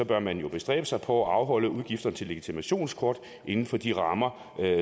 bør man jo bestræbe sig på at afholde udgifter til legitimationskort inden for de rammer